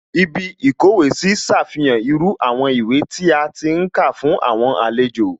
Ibí ìkówèé sí ṣàfihàn irú àwọn ìwé tí a ti ń kà fún àwọn àlejò